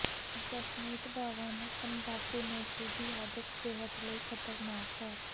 ਜਸਮੀਤ ਬਾਵਾ ਨੇ ਤੰਬਾਕੂਨੋਸ਼ੀ ਦੀ ਆਦਤ ਸਿਹਤ ਲਈ ਖਤਰਨਾਕ ਹੈ